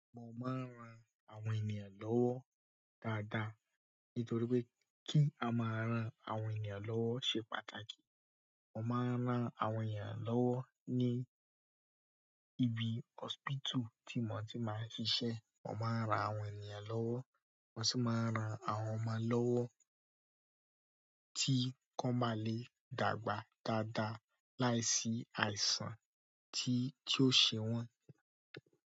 Mo máa ń ran àwọn ènìyàn lọ́wọ́ dáadáa, nítorí pé kí a máa ran àwọn ènìyàn lọ́wọ́ se pàtàkì. Mo maa n ran àwọn ènìyàn lowo ni hospital ti mo ti maa n sise. Mo máa ń ran àwọn ènìyàn lọ́wọ́, mo sì máa ń ran àwọn ọmọ lọ́wọ́ tí kan má lè dàgbà dáadáa láìsí àìsàn tí tí ó ṣe wọ́n.